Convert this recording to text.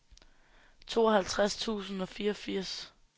tooghalvtreds tusind og fireogfirs